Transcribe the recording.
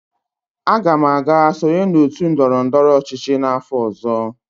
Aga m aga sonye n'otu ndọrọ ndọrọ ọchịchị n'afọ ọzọ.